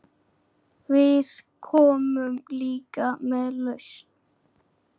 Við komum líka með lausn.